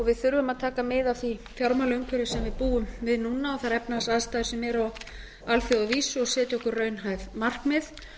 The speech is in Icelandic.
við þurfum að taka mið af því fjármálaumhverfi sem við búum við núna og þær efnahagsaðstæður sem eru á alþjóðavísu og setja okkur raunhæf markmið